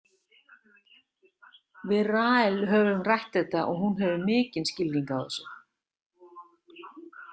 Við Rahel höfum rætt þetta og hún hefur mikinn skilning á þessu.